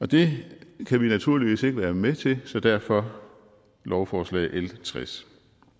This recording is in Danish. det kan vi naturligvis ikke være med til så derfor lovforslag l tres